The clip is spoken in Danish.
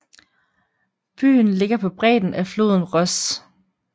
Byen ligger på bredden af floden Ros